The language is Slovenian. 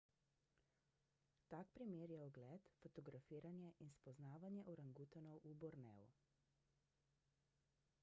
tak primer je ogled fotografiranje in spoznavanje orangutanov v borneu